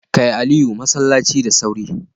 Kai Aliyu masallaci da sauri.